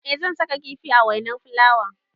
Eh zan saka kifi a wainar fulawan.